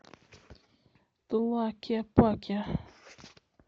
тлакепаке